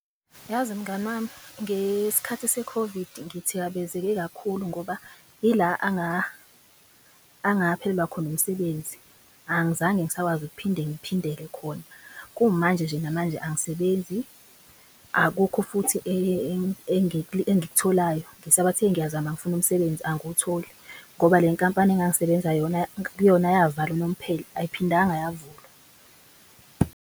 Yazi mngani wami ngeskhathi se-COVID ngithikabezeke kakhulu ngoba yila angaphelelwa khona umsebenzi. Angizange ngisakwazi ukuphinde ngiphindele khona. Kumanje nje namanje angisebenzi, akukho futhi engikutholayo. Ngisabathe ngiyazama ngifuna umsebenzi angiwutholi ngoba le nkampani engangisebenza kuyona yavalwa unomphela ayiphindanga yavulwa.